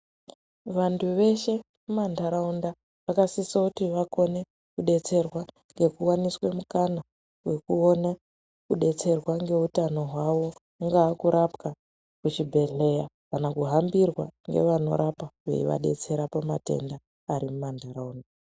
Vantu veshe muma ntaraunda vakasise kuti vakone kubetserwa ngekuwaniswe mukana wekuona kubetserwa ngeutano hwavo kungaa kurapwa muzvibhedhlera kana kuhambirwa ngeanorapa ngevanorapa veivababetsera pamatenda ari mum antaraunda .